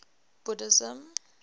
buddhism